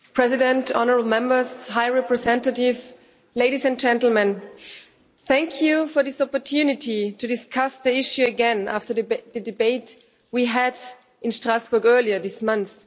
Mr President, honourable Members, High Representative, ladies and gentlemen, thank you for this opportunity to discuss the issue again after the debate we had in Strasbourg earlier this month.